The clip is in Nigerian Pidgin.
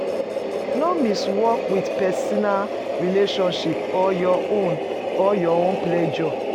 No mix work with personal relationship or your own or your own pleasure